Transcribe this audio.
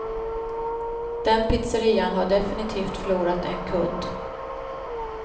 Den pizzerian har definitivt förlorat en kund.